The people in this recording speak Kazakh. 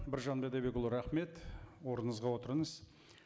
біржан бидайбекұлы рахмет орныңызға отырыңыз